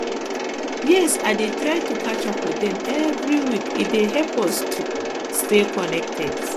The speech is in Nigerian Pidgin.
yes i dey try to catch up with dem every week e dey help us to stay connected